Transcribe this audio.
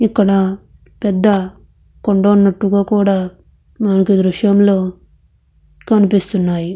ఇక్కడ పెద్ద కొండున్నట్టుగా మనకి దృశ్యంలో కనిపిస్తున్నాయి.